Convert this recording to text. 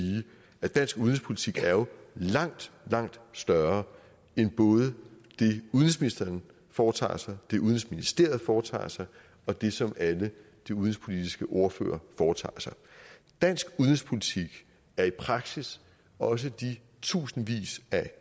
at dansk udenrigspolitik jo er langt langt større end både det udenrigsministeren foretager sig det udenrigsministeriet foretager sig og det som alle de udenrigspolitiske ordførere foretager sig dansk udenrigspolitik er i praksis også de tusindvis af